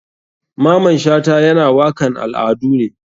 Maman shata yana wakan al adu ne.